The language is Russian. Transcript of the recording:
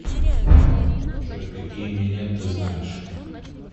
джой какие минет ты знаешь